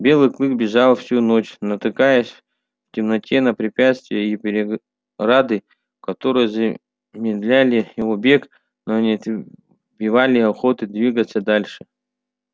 белый клык бежал всю ночь натыкаясь в темноте на препятствия и преграды которые замедляли его бег но не отбивали охоты двигаться дальше